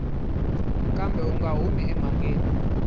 kambe u nga humi emhakeni